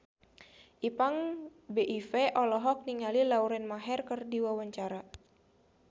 Ipank BIP olohok ningali Lauren Maher keur diwawancara